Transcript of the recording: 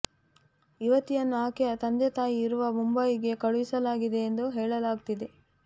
ಯುವತಿಯನ್ನು ಆಕೆಯ ತಂದೆ ತಾಯಿ ಇರುವ ಮುಂಬಯಿಗೆ ಕಳುಹಿಸಲಾಗಿದೆ ಎಂದು ಹೇಳಲಾಗುತ್ತಿದೆ